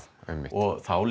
og þá